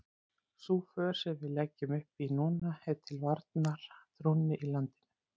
Sú för sem við leggjum upp í núna er til varnar trúnni í landinu.